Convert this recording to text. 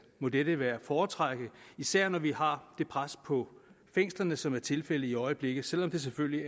må dette være at foretrække især når vi har det pres på fængslerne som er tilfældet i øjeblikket selv om det selvfølgelig